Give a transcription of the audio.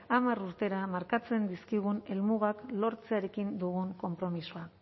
hamar urtera markatzen dizkigun helmugak lortzearekin dugun konpromisoa